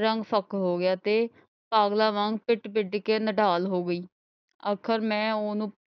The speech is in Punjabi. ਰੰਗ ਫਿੱਕਾ ਹੋ ਗਿਆ ਤੇ ਪਾਗਲਾਂ ਵਾਂਗ ਪਿੱਟ ਪਿੱਟ ਕੇ ਨਿਢਾਲ ਹੋ ਗਈ।